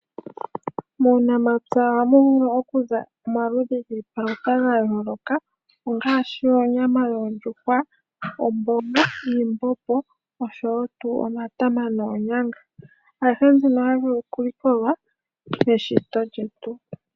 Muunamapya oha mu vula okuza omaludhi gii palutha ga yooloka, ongaashi: oonyama dhoo ndjuhwa, omboga niimbombo osho wo tuu omatama noonyanga. Ayihe mbino ohayi vulu oku likolwa pe shito lyetu.